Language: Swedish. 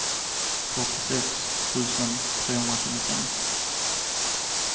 fyrtiosex tusen trehundratjugofem